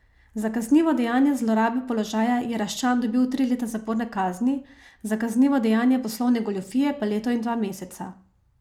Za kaznivo dejanje zlorabe položaja je Raščan dobil tri leta zaporne kazni, za kaznivo dejanje poslovne goljufije pa leto in dva meseca.